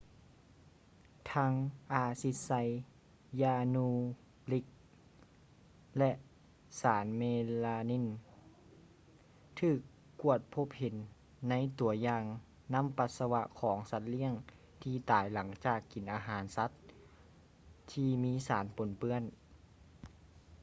ທັງ ອາຊິດໄຊຢານູຣິກ ແລະ ສານເມລາມີນ ຖືກກວດພົບເຫັນໃນຕົວຢ່າງນ້ຳປັດສະວະຂອງສັດລ້ຽງທີ່ຕາຍຫຼັງຈາກກິນອາຫານສັດທີ່ມີສານປົນເປື້ອນ